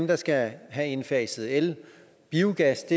der skal have indfaset el biogas